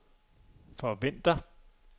forventer